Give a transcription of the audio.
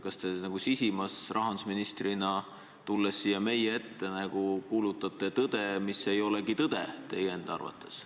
Kas te sisimas rahandusministrina tulles siia meie ette kuulutate tõde, mis teie enda arvates ei olegi tõde?